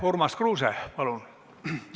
Urmas Kruuse, palun!